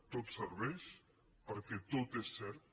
tot serveix perquè tot és cert